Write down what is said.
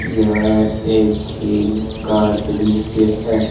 यह एक झील का दृश्य है।